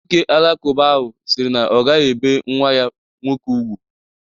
Nwọke alakụba ahụ siri na ọ gaghi ebe nwa ya nwọke ùgwú.